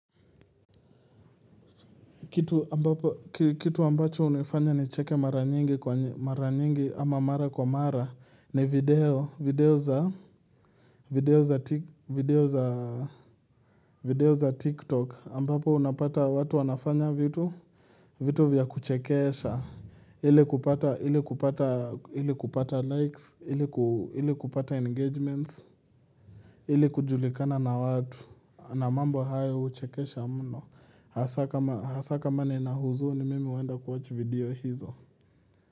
Kitu ambacho unifanya ni cheke mara nyingi kwa mara nyingi ama mara kwa mara ni video za video za TikTok ambapo unapata watu wanafanya vitu vya kuchekesha ili kupata likes, ili kupata engagements, ili kujulikana na watu na mambo hayo uchekesha muno. Hasa kama nina huzuni mimi uenda kuwatch video hizo.